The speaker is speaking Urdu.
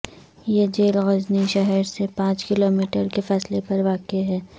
یہ جیل غزنی شہر سے پانچ کلو میٹر کے فاصلے پر واقع ہے